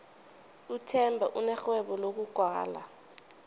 uthemba unerhwebo lokugwala